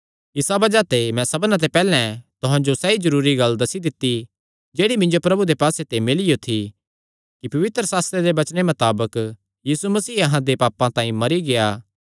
इसा बज़ाह ते मैं सबना ते पैहल्लैं तुहां जो सैई जरूरी गल्ल दस्सी दित्ती जेह्ड़ी मिन्जो प्रभु दे पास्से ते मिलियो थी कि पवित्रशास्त्रे दे वचने मताबक यीशु मसीह अहां दे पापां तांई मरी गेआ